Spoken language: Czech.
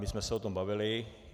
My jsme se o tom bavili.